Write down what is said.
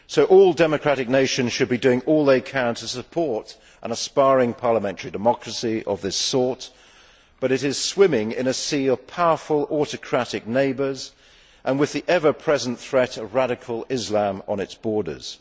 All democratic nations should be doing all they can to support an aspiring parliamentary democracy of this sort, but it is swimming in a sea of powerful autocratic neighbours and with the ever present threat of radical Islam on its borders.